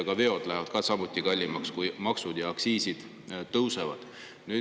Ka veod lähevad kallimaks, kui maksud ja aktsiisid tõusevad.